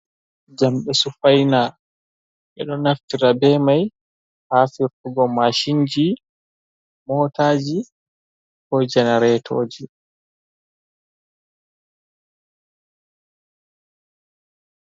Jamɗe sufaina, ɓeɗo naftira be mai ha firtugo mashinji, motaji, ko jenaretoji.